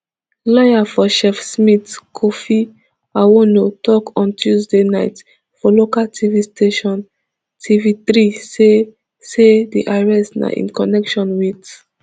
lawyer for chef smith kofi awoonor tok on tuesday night for local tv station tvthree say say di arrest na in connection wit